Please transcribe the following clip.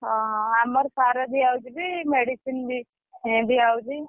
ଓହୋ! ଆମର ସାର ଦିଆ ହଉଛି ବି medicine ବି ଦିଆ ହଉଛି।